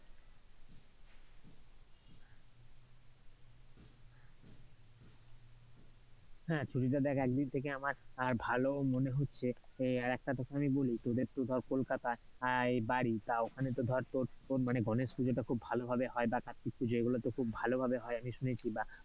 হ্যাঁ, ছুটিটা দেখ একদিক থেকে আমার ভালোও মনে হচ্ছে, এর আর একটা কথা আমি বলি, তোদের তো ধর কলকাতায় বাড়ি তা ওখানে তো ধর গণেশ পূজোটা খুব ভালো ভাবে হয়, বা কার্ত্তিক পুজো এগুলো তো খুব ভালোভাবে হয়, আমি শুনেছি, বা,